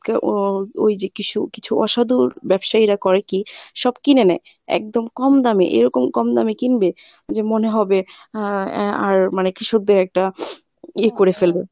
ও ঐ যে কিসু কিছু অসাধুর ব্যবসায়ীরা করে কী সব কিনে নেয় একদম কম দামে এরকম কম দামে কিনবে যে মনে হবে আহ এ আর মানে কৃষকদের একটা ইয়ে করে ফেলবে